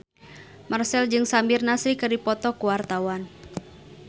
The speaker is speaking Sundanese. Marchell jeung Samir Nasri keur dipoto ku wartawan